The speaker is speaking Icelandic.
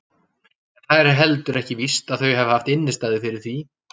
En það er heldur ekki víst að þau hafi haft innistæðu fyrir því.